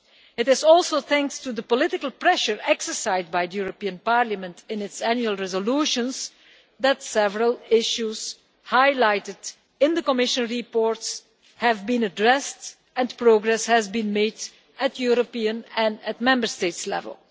It is also thanks to the political pressure exercised by the European Parliament in its annual resolutions that several issues highlighted in the Commission reports have been addressed and progress has been made at European and at Member State level.